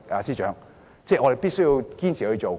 司長，我們必須堅持進行。